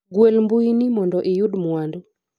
gwel mbui ni mondo iyud mwandu